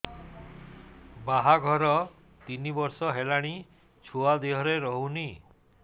ବାହାଘର ତିନି ବର୍ଷ ହେଲାଣି ଛୁଆ ଦେହରେ ରହୁନି